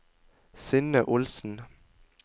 Synne Olsen